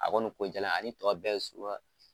A kɔni ko ani tɔw bɛɛ ye suguya